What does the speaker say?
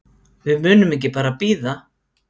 Við munum ekki bara bíða.